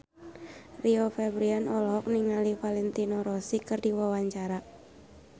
Rio Febrian olohok ningali Valentino Rossi keur diwawancara